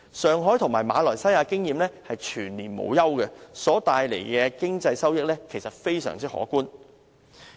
上海和馬來西亞賽車場的經驗是全年無休，所帶來的經濟收益實在非常可觀。